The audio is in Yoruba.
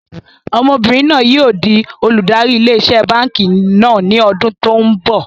Ọmọbìnrin náà yìí ó di olùdarí ilé iṣẹ́ báànkì náà ni ọdún tòun bọ̀.